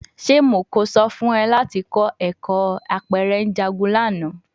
Ṣe Mo ko sọ fun ọ lati kọ ẹkọ apẹrẹ njagun lana?